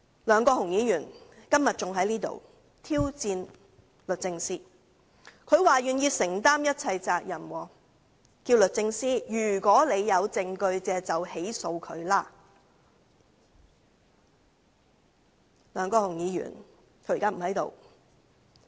梁國雄議員今天還在立法會挑戰律政司，說願意承擔一切責任；如果律政司有證據，大可對他提出起訴。